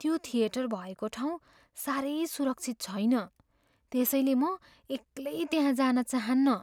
त्यो थिएटर भएको ठाउँ साह्रै सुरक्षित छैन त्यसैले म एक्लै त्यहाँ जान चाहन्नँ।